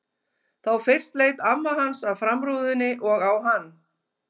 Þá fyrst leit amma hans af framrúðunni og á hann.